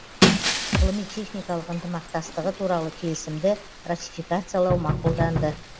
ғылыми техникалық ынтымақтастығы туралы келісімді ратификациялау мақұлданды